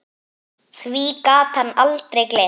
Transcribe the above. Því gat hann aldrei gleymt.